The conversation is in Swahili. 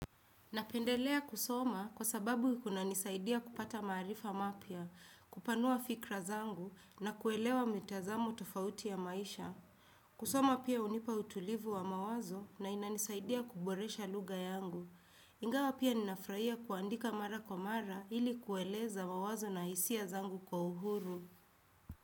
Napendelea kusoma kwa sababu kuna nisaidia kupata marifa mapya, kupanua fikra zangu na kuelewa mitazamo tofauti ya maisha. Kusoma pia unipa utulivu wa mawazo na inanisaidia kuboresha luga yangu. Ingawa pia ninafraia kuandika mara kwa mara ili kueleza mawazo na isia zangu kwa uhuru.